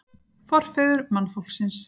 Forfeður mannfólksins